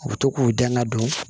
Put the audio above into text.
U bɛ to k'u dɛn ka don